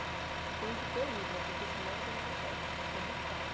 Você tem que ter libra, porque senão você não consegue, porque é muito caro.